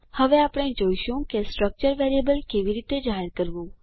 હવે આપણે જોઈશું કે સ્ટ્રક્ચર વેરિયેબલ કેવી રીતે જાહેર કરવું